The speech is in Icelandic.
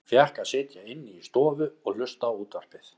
Hann fékk að sitja inni í stofu og hlusta á útvarpið.